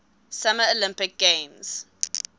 summer olympic games